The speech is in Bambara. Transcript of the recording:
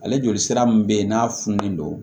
Ale joli sira min bɛ yen n'a fununen don